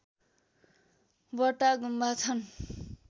वटा गुम्बा छन्